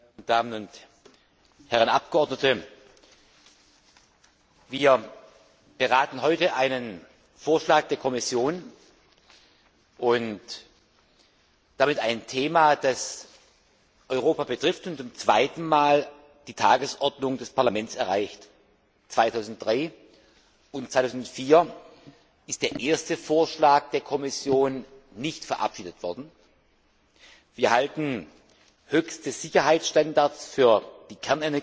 Frau Präsidentin, meine sehr geehrten Damen und Herren Abgeordnete! Wir beraten heute einen Vorschlag der Kommission und damit ein Thema, das Europa betrifft und zum zweiten Mal die Tagesordnung des Parlaments erreicht. 2003 und 2004 ist der erste Vorschlag der Kommission nicht verabschiedet worden. Wir halten höchste Sicherheitsstandards für die